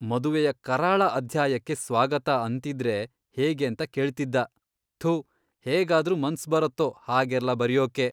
ಮದುವೆಯ ಕರಾಳ ಅಧ್ಯಾಯಕ್ಕೆ ಸ್ವಾಗತ ಅಂತಿದ್ರೆ ಹೇಗೇಂತ ಕೇಳ್ತಿದ್ದ. ಥು ಹೇಗಾದ್ರೂ ಮನ್ಸ್ ಬರತ್ತೋ ಹಾಗೆಲ್ಲ ಬರ್ಯೋಕೆ!